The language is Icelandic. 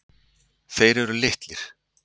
Þeir eru litlir.